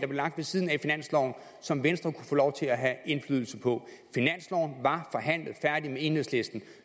der lå ved siden af finansloven som venstre kunne få lov til at have indflydelse på finansloven var forhandlet færdig med enhedslisten